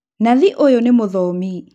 Nathi ũyũ nĩ mũthomi